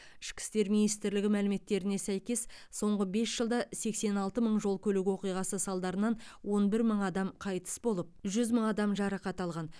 ішкі істер министрлігі мәліметтеріне сәйкес соңғы бес жылда сексен алты мың жол көлік оқиғасы салдарынан он бір мың адам қайтыс болып жүз мың адам жарақат алған